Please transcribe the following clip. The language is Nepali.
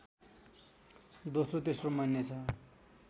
दोस्रो तेस्रो मानिनेछ